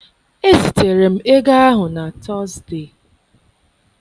Ezitere m ego ahụ na Tọzdee.